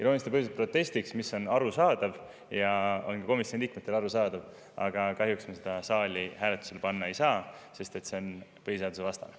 Iroonilistel põhjustel on see protestiks – see on arusaadav, ka komisjoni liikmetele arusaadav –, aga kahjuks me seda saali hääletusele panna ei saa, sest see on põhiseadusvastane.